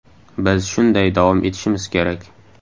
Biz shunday davom etishimiz kerak.